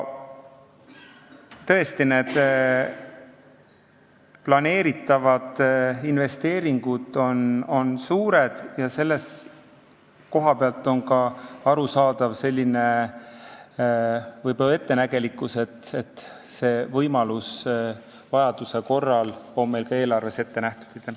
Tõesti, planeeritavad investeeringud on suured ja selle koha pealt on võib-olla ka arusaadav selline ettenägelikkus, et see võimalus on meil eelarves ette nähtud.